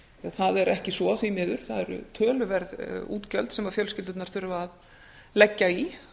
það er ekki svo því miður það eru töluverð útgjöld sem fjölskyldurnar þurfa að leggja í